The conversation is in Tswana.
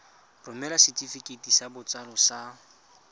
romela setefikeiti sa botsalo sa